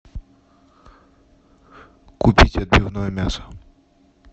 купить отбивное мясо